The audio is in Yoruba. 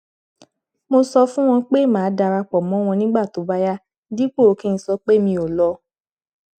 mo sọ fún wọn pé màá dara pọ mọ wọn nígbà tó bá yá dípò kí n sọpé mi ò lọ